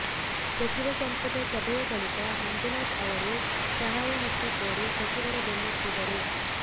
ಸಚಿವ ಸಂಪುಟ ಸಭೆಯ ಬಳಿಕ ಮಂಜುನಾಥ ಅವರು ಸಹಾಯಹಸ್ತ ಕೋರಿ ಸಚಿವರ ಬೆನ್ನತ್ತಿದರು